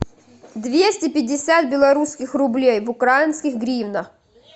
двести пятьдесят белорусских рублей в украинских гривнах